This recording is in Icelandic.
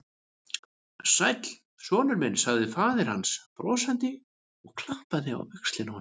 Sæll, sonur minn sagði faðir hans brosandi og klappaði á öxlina á honum.